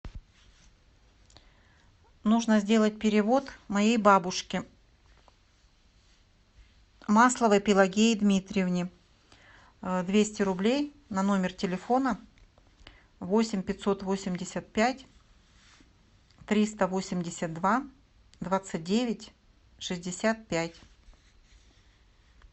нужно сделать перевод моей бабушке масловой пелагее дмитриевне двести рублей на номер телефона восемь пятьсот восемьдесят пять триста восемьдесят два двадцать девять шестьдесят пять